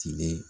Tilene